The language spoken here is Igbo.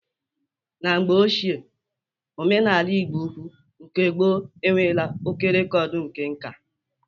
Na mgbe ochie, omenala Ịgbo ukwu nke gboo enwela oké rekọdu nke nkà